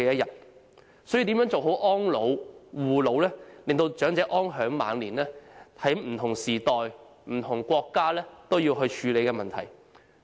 因此，如何做好安老、護老，讓長者安享晚年，是不同時代和不同國家也必須處理的問題。